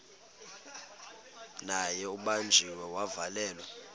naye ubanjiwe wavalelwa